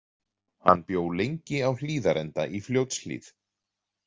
Hann bjó lengi á Hlíðarenda í Fljótshlíð.